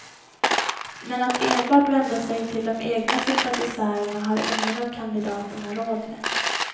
Men att enbart vända sig till de egna sympatisörerna har ingen av kandidaterna råd med.